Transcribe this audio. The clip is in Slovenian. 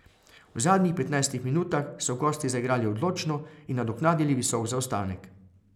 V zadnjih petnajstih minutah so gosti zaigrali odločno in nadoknadili visok zaostanek.